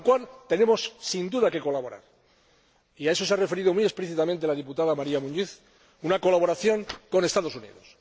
Para conseguirlo, tenemos, sin duda, que colaborar, y a eso se ha referido muy explícitamente la diputada María Muñiz a una colaboración con los Estados Unidos.